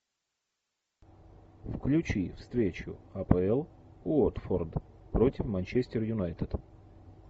включи встречу апл уотфорд против манчестер юнайтед